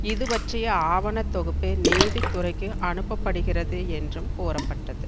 இது பற்றிய ஆவண தொகுப்பு நீதித்துறைக்கு அனுப்பப்படுகிறது என்றும் கூறப்பட்டது